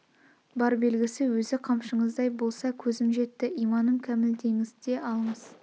бар белгісі өзі қамшыңыздай болса көзім жетті иманым кәміл деңіз де алыңыз